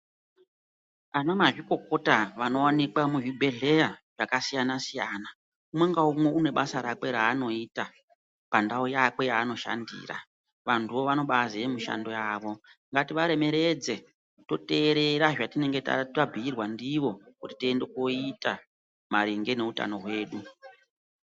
Anamazvikokota vanowanikwa muzvibhehleya vanoziya mishando yawo vanototi umwe naumwe pandau yake ngekuti munthu wega wega unoziya mushando wake.